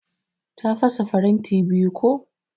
Ta fasa faranti biyu ko.